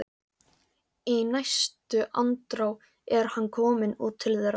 Í næstu andrá er hann kominn út til þeirra.